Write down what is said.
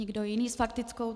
Nikdo jiný s faktickou.